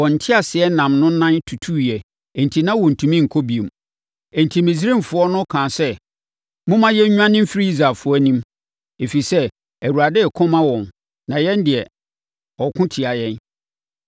Wɔn nteaseɛnam no nan tutuiɛ enti na wɔntumi nkɔ bio. Enti Misraimfoɔ no kaa sɛ, “Momma yɛnnwane mfiri Israelfoɔ anim, ɛfiri sɛ, Awurade reko ma wɔn na yɛn deɛ, ɔreko tia yɛn.”